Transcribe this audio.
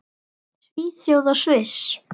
Svíþjóð og Sviss.